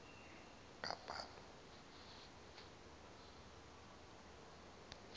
kaphalo